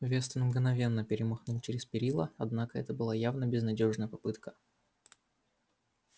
вестон мгновенно перемахнул через перила однако это была явно безнадёжная попытка